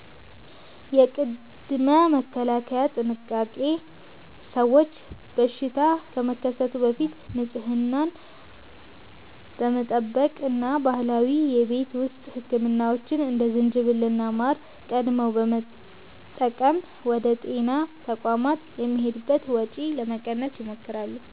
የቅድመ-መከላከል ጥንቃቄ፦ ሰዎች በሽታ ከመከሰቱ በፊት ንጽህናን በመጠበቅ እና ባህላዊ የቤት ውስጥ ሕክምናዎችን (እንደ ዝንጅብልና ማር) ቀድመው በመጠቀም ወደ ጤና ተቋማት የሚሄዱበትን ወጪ ለመቀነስ ይሞክራሉ።